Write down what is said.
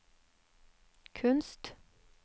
kunst